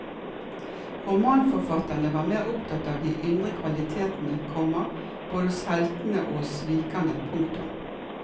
Romanforfatterne var mer opptatt av de indre kvalitetene, komma både hos heltene og hos svikerne. punktum